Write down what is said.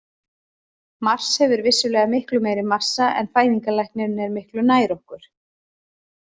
Mars hefur vissulega miklu meiri massa en fæðingarlæknirinn er miklu nær okkur.